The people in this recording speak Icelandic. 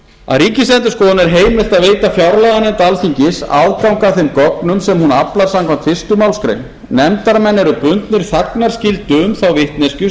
að ríkisendurskoðun er heimilt að veita fjárlaganefnd alþingis aðgang að þeim gögnum sem hún aflar samkvæmt fyrstu málsgrein nefndarmenn eru bundnir þagnarskyldu um þá vitneskju